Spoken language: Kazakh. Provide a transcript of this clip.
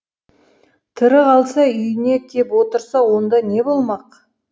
тірі қалса үйіне кеп отырса онда не болмақ